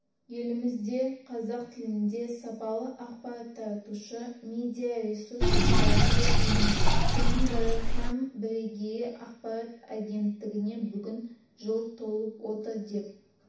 елімізде қазақ тілінде сапалы ақпарат таратушы медия-ресурс қатары көп емес соның бірі һәм бірегейі ақпарат агенттігіне бүгін жыл толып отыр деп